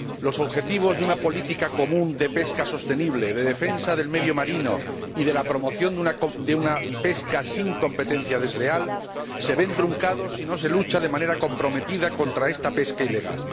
Los objetivos de una política común de pesca sostenible, de defensa del medio marino y de la promoción de una pesca sin competencia desleal se ven truncados si no se lucha de manera comprometida contra esta pesca ilegal.